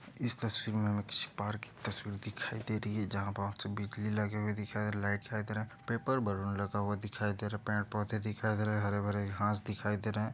इस तस्वीर में हमें किसी पार्क की तस्वीर दिखाई दे रही है जहाँ बहुत सी बिजली लगे हुए दिख रहें हैं लाइट दिखाई दे रहें पेपर बॉल में लगा हुआ दिखाई दे रहें पेड़-पौधे दिखाई दे रहें हरे-भरे घास दिखाई दे रहें हैं।